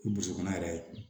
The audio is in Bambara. I boso kɔnna yɛrɛ ye